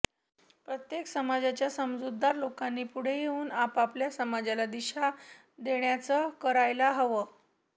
प्रत्येक समाजाच्या समजूतदार लोकांनी पुढे येऊन आपापल्या समाजाला दिशा देण्याचं करायला हवं